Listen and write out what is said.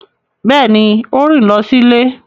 Beeni, o rin lo si ile